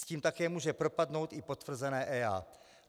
S tím také může propadnout i potvrzené EIA.